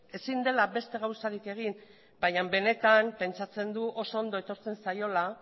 ezin dela beste gauzarik egin baina benetan pentsatzen du oso ondo etortzen zaiola